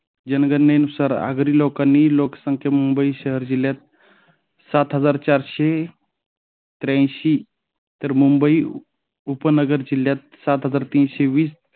जनकल्यानुसार आगरी लोकांनी लोकसंख्या मुंबई शहर जिल्ह्यात सात हजार चारशे तेऐंशी, तर मुंबई उपनगर जिल्ह्यात सात हजार तीनशे वीस